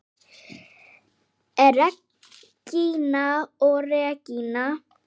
Regína og Regína.